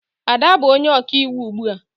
Ada bụ onye ọkaiwu ugbu a